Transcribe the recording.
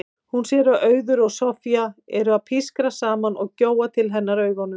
Hún sér að Auður og Soffía eru að pískra saman og gjóa til hennar augunum.